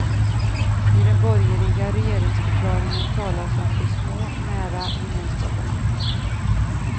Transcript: I den borgerliga regeringsförklaringen talas om de små, nära gemenskaperna.